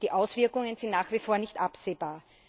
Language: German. Die Auswirkungen sind nach wie vor nicht absehbar.